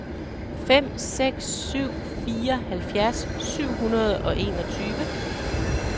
fem seks syv fire halvfjerds syv hundrede og enogtyve